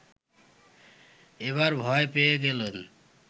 এবার ভয় পেয়ে গেলেন